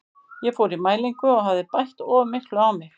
Ég fór í mælingu og hafði bætt of miklu á mig.